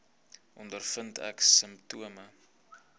ondervind ek simptome